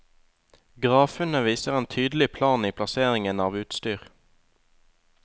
Gravfunnet viser en tydelig plan i plasseringen av utstyr.